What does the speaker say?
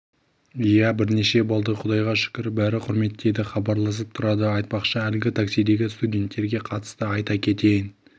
иә бірнеше болды құдайға шүкір бәрі құрметтейді хабарласып тұрады айтпақшы әлгі таксидегі студенттерге қатысты айта кетейін